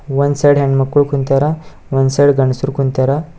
ಒಂದು ಸೈಡ್ ಹೆಣ್ಮಕ್ಳು ಕುಂತ್ಯರ ಒಂದು ಸೈಡ್ ಗಂಡಸರು ಕುಂತ್ಯರ.